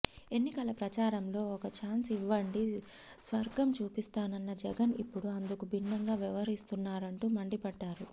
ఎన్నికల ప్రచారంలో ఒక్క ఛాన్స్ ఇవ్వండి స్వర్గం చూపిస్తానన్న జగన్ ఇప్పుడు అందుకు భిన్నంగా వ్యవహరిస్తున్నారంటూ మండిపడ్డారు